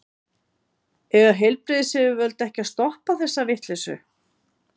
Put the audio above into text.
Eiga heilbrigðisyfirvöld ekki að stoppa þessa vitleysu?